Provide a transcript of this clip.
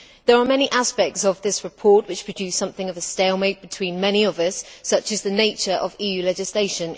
There are many aspects of this report which produced something of a stalemate between many of us, such as the nature of EU legislation.